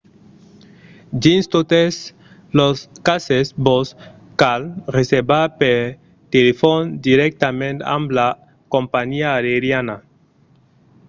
dins totes los cases vos cal reservar per telefòn dirèctament amb la companhiá aeriana